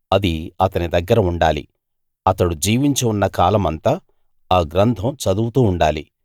అది అతని దగ్గర ఉండాలి అతడు జీవించి ఉన్న కాలమంతా ఆ గ్రంథం చదువుతూ ఉండాలి